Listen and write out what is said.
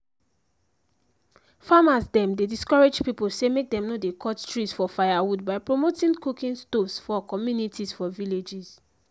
farmers dem dey discourage people say make dem no dey cut trees for firewood by promoting cooking stoves for communicaties for villages